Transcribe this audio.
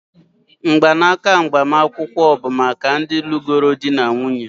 mgbanaka agbamakwụkwọ bụ maka ndị lụrụ di na nwunye